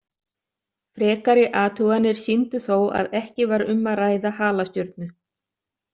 Frekari athuganir sýndu þó að ekki var um að ræða halastjörnu.